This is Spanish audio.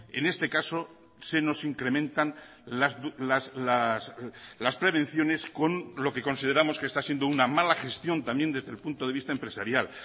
en este caso se nos incrementan las prevenciones con lo que consideramos que está siendo una mala gestión también desde el punto de vista empresarial